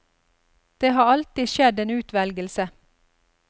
Det har alltid skjedd en utvelgelse.